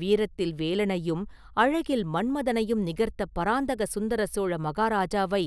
வீரத்தில் வேலனையும் அழகில் மன்மதனையும் நிகர்த்த பராந்தக சுந்தர சோழ மகாராஜாவை